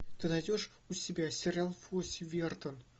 ты найдешь у себя сериал фосси вердон